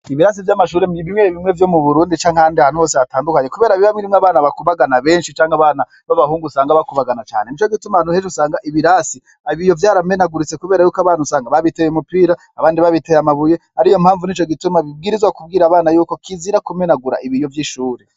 Ibirasi vy'amashure bimwe bimwe vyo mu burundi canke ahandi hantu hose hatandukanye kubera biba birimwo abana bakubagana benshi canke abana b'abahungu usanga bakubagana cane. Nico gituma nk'ejo usanga ibirasi ibiyo vyaramenaguritse kubera usanga abana biteye umupira, abandi babiteye amabuye, ariyo mpamvu nico gituma bibwirizwa kubwira abana yuko kizira kumenagura ibiyo vy'ishure.